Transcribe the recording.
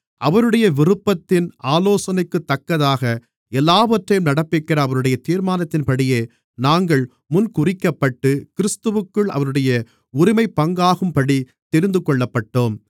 அவருடைய விருப்பத்தின் ஆலோசனைக்குத்தக்கதாக எல்லாவற்றையும் நடப்பிக்கிற அவருடைய தீர்மானத்தின்படியே நாங்கள் முன்குறிக்கப்பட்டு கிறிஸ்துவிற்குள் அவருடைய உரிமைப்பங்காகும்படி தெரிந்துகொள்ளப்பட்டோம்